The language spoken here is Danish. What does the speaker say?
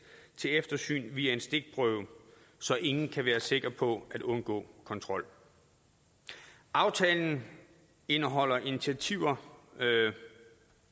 til eftersyn via en stikprøve så ingen kan være sikker på at undgå kontrol aftalen indeholder initiativer